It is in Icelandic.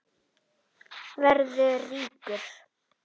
Verða ríkur.